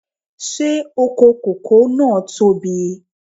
Ṣé oko kòkó náà tóbi?